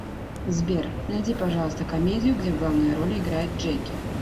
сбер найди пожалуйста комедию где в главной роли играет джеки